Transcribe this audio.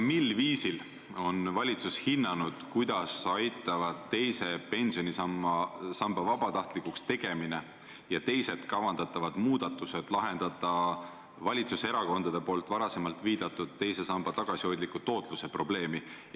Mil viisil on valitsus hinnanud, kuidas aitavad teise pensionisamba vabatahtlikuks tegemine ja muud kavandatavad muudatused lahendada valitsuserakondade poolt varem viidatud teise samba tagasihoidliku tootluse probleemi?